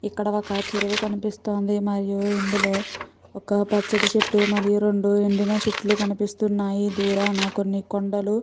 ఇక్కడ ఒక చెరువు కనిపిస్తోంది మరియు ఇందులో ఒక పచ్చటి చెట్టు మరియు రెండు ఎండిన చెట్లు కనిపిస్తున్నాయి దూరాన కొన్ని కొండలు.